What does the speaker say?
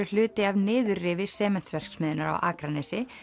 hluti af niðurrifi Sementsverksmiðjunnar á Akranesi